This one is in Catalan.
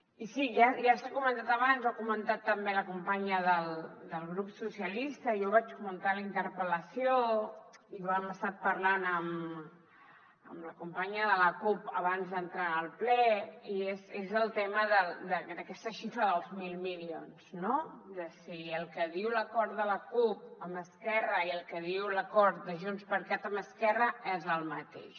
i sí ja s’ha comentat abans ho ha comentat també la companya del grup socialistes i jo ho vaig comentar a la interpel·lació i ho hem estat parlant amb la companya de la cup abans d’entrar al ple i és el tema d’aquesta xifra dels mil milions no de si el que diu l’acord de la cup amb esquerra i el que diu l’acord de junts per cat amb esquerra és el mateix